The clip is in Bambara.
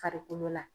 Farikolo la